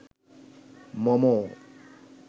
মম